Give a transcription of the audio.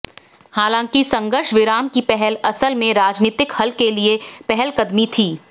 हालांकि संघर्ष विराम की पहल असल में राजनीतिक हल के लिए पहलकदमी थी